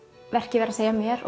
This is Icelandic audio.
verkið vera að segja mér